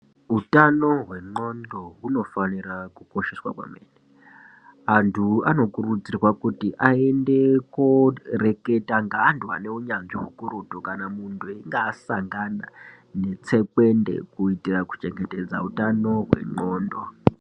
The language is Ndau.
Hutano hwe ndxondo huno fanira ku kosheswa maningi antu ano kurudzirwa kuti ayende ko reketa nge antu ane unyanzvi hukurutu kana munhu einge asangana ne tsekwende kuitira ku chengetedza utano hwe ndxondo.